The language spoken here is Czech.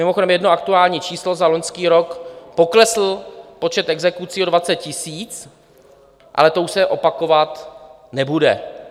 Mimochodem jedno aktuální číslo, za loňský rok poklesl počet exekucí o 20 000, ale to už se opakovat nebude.